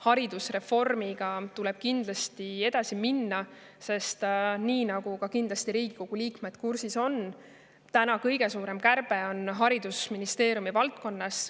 Haridusreformiga tuleb kindlasti edasi minna, sest nagu Riigikogu liikmed kindlasti kursis on, kõige suurem kärbe on haridusministeeriumi valdkonnas.